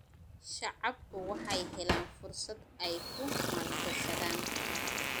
Shacabku waxay helaan fursad ay ku maalgashadaan.